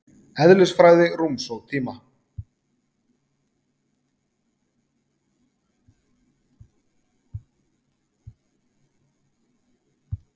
Eðlisfræði rúms og tíma.